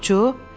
Qopçu?